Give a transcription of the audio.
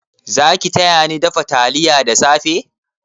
Zaki tayani dafa taliya da safe?